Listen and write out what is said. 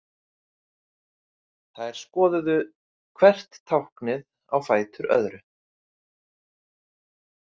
Þær skoðuðu hvert táknið á fætur öðru.